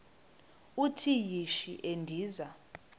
uthi yishi endiza